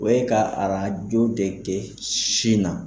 O ye ka arajo de kɛ sin na.